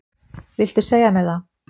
Viltu segja mér það?